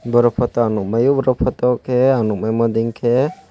aro poto ang nwng mao aro poto khe ang nwngma dingkhe.